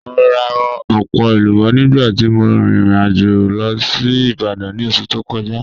Mo ra ọpọ elubo nigba ti mo rin irin ajo lọ si Ibadan ni oṣu to kọja.